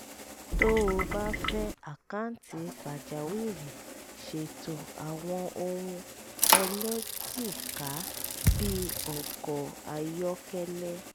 tó o bá fẹ́ àkáǹtì pàjáwìrì ṣètò àwọn ohun ẹlẹ́jìká bí ọkọ̀ ayọ́kẹ́lẹ́